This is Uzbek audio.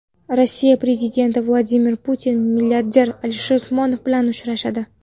Rossiya prezidenti Vladimir Putin milliarder Alisher Usmonov bilan uchrashadi.